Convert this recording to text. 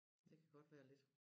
Det kan godt være lidt